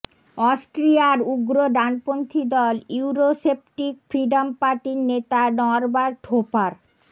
অস্ট্রিয়ার উগ্র ডানপন্থি দল ইউরোসেপ্টিক ফ্রিডম পার্টির নেতা নরবার্ট হোফার